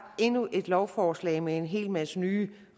endnu et lovforslag med en hel masse nye